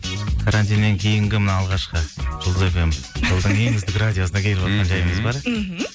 карантиннен кейінгі мына алғашқы жұлдыз фм жолдан кейін үздік радиосына келіп отырған жайымыз бар мхм